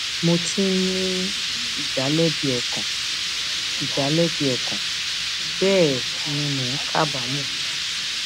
mò ti ń ní ìdálẹbi ọkàn ìdálẹbi ọkàn bẹẹ ni mò ń kábàámọ